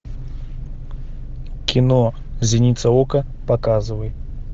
кино зеница ока показывай